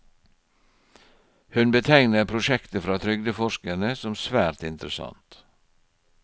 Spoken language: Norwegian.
Hun betegner prosjektet fra trygdeforskerne som svært interessant.